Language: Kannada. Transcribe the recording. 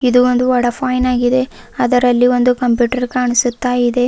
ಇದು ಒಂದು ವಡಾಪೈನ್ ಆಗಿದೆ ಅದರಲ್ಲಿ ಒಂದು ಕಂಪ್ಯೂಟರ್ ಕಾಣಸುತ್ತಾಇದೆ.